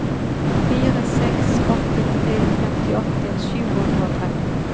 fire seks åtte tre femtiåtte sju hundre og tretten